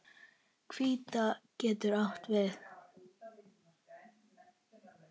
Hvíta getur átt við